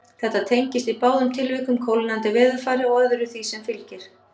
Þetta tengist í báðum tilvikum kólnandi veðurfari og öðru sem því fylgir.